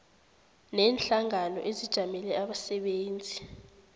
neenhlangano ezijamele abasebenzi